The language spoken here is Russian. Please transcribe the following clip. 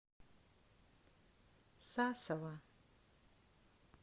сасово